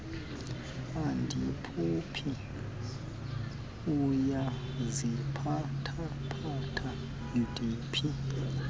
andiphuphi uyaziphathaphatha ndiphi